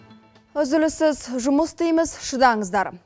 үзіліссіз жұмыс істейміз шыдаңыздар